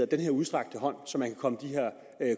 den her udstrakte hånd så man kan komme de her